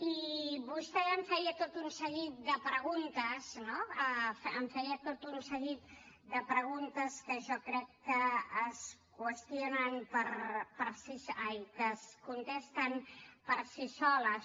i vostè em feia tot un seguit de preguntes no em feia tot un seguit de preguntes que jo crec que es contesten per si soles